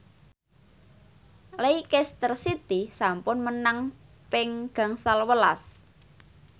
Leicester City sampun menang ping gangsal welas